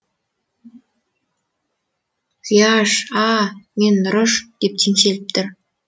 зияш а а а мен нұрыш деп теңселіп тұр